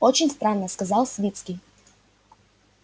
очень странно сказал свицкий